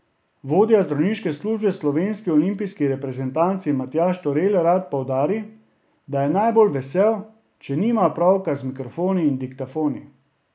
Vodja zdravniške službe v slovenski olimpijski reprezentanci Matjaž Turel rad poudari, da je najbolj vesel, če nima opravka z mikrofoni in diktafoni.